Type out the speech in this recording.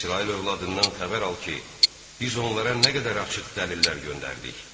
İsrail övladından xəbər al ki, biz onlara nə qədər açıq dəlillər göndərdik.